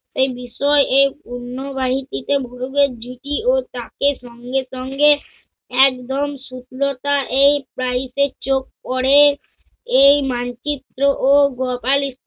এ বিষয়ে অন্যবাহিতিকে গরিবের ঝুকি ও তাকে সঙ্গে সঙ্গে একদম শুকনোতা এই বাড়িতে চোখ পরে। এই মানচিত্র ও